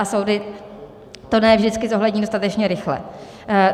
A soudy to ne vždycky zohlední dostatečně rychle.